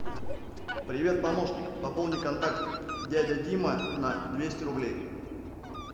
привет помощник пополни контакт дядя дима на двести рублей